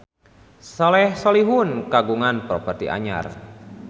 Soleh Solihun kagungan properti anyar